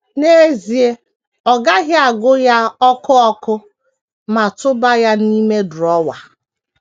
N’ezie, ọ gaghị agụ ya ọkụ ọkụ ma tụba ya n’ime drọwa.